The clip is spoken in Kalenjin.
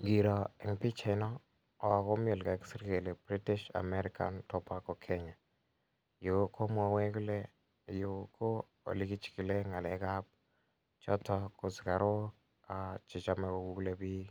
Ngiro en pichaino komi ole kakisir kele British America Tobacco Kenya. Yu komwawech kole yu ko ole kichikile ng'alek ap chotok ko sigarok che chame kokule piik